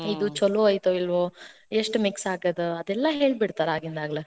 ಇದು ಛೆಲೋ ಐತಿಲ್ಲೋ, ಎಷ್ಟ mix ಆಗೈದ ಅದೆಲ್ಲಾ ಹೇಳ್ಬಿಡ್ತಾರ ಆಗಿಂದಾಗ್ಲೆ